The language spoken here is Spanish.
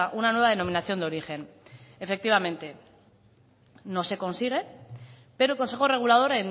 una nueva denominación de origen efectivamente no se consigue pero el consejo regulador